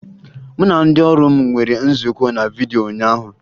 Mụ na ndị ọrụ m nwere nzukọ na vidyo ụnyaahụ